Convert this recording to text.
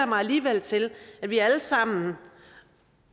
mig alligevel til at vi alle sammen